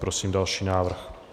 Prosím další návrh.